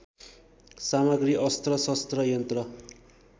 सामग्री अस्त्रशस्त्र यन्त्र